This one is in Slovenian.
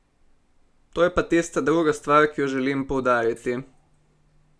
To je pa tista druga stvar, ki jo želim poudariti.